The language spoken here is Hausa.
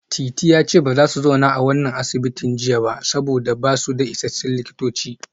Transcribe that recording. Titi ya ce ba za su zauna a wannan asibitin jiya ba saboda ba su da isassun likitoci